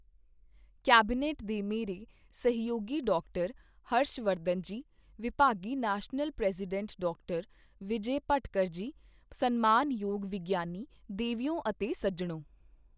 Cabinet ਦੇ ਮੇਰੇ ਸਹਿਯੋਗੀ ਡਾਕਟਰ ਹਰਸ਼ ਵਰਧਨ ਜੀ, ਵਿਭਾਗੀ national president doctor Vijay Bhatkar ji, ਸਨਮਾਨਯੋਗ ਵਿਗਿਆਨੀ, ਦੇਵੀਓ ਅਤੇ ਸੱਜਣੋਂ।